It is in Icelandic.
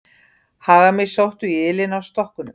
Hagamýsnar sóttu í ylinn af stokkunum.